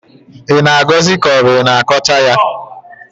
ị na-agọzi ka ọ bụ i na-akọcha ya?